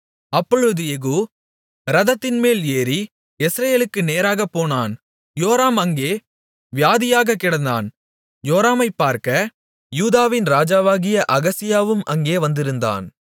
அப்பொழுது யெகூ இரதத்தின்மேல் ஏறி யெஸ்ரயேலுக்கு நேராகப் போனான் யோராம் அங்கே வியாதியாகக் கிடந்தான் யோராமைப்பார்க்க யூதாவின் ராஜாவாகிய அகசியாவும் அங்கே வந்திருந்தான்